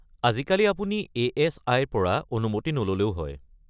আজিকালি আপুনি এ.এছ.আই-ৰ পৰা অনুমতি নল’লেও হয়।